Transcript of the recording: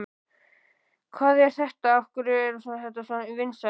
Hvað er þetta, af hverju er þetta svona vinsælt?